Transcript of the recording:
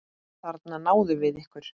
Þarna náðum við ykkur!